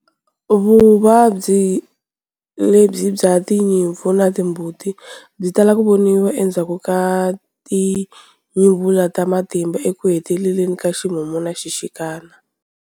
Vuvabyi lebyi bya timputi na tinyimpfu byi tala ku voniwa endzhaku ka tinyuvula ta matimba ekuheteleleni ka ximumu na xixikana.